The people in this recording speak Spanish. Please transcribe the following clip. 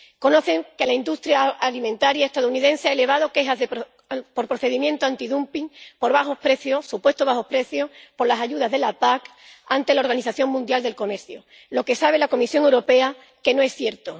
Saben que la industria alimentaria estadounidense ha elevado quejas por procedimiento antidumping por bajo precio —supuesto bajo precio—, por las ayudas de la PAC, ante la Organización Mundial del Comercio, lo cual la Comisión Europea sabe que no es cierto.